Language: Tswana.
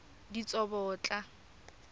ditsobotla